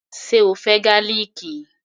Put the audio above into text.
Ṣe o fẹ́ gálìkì?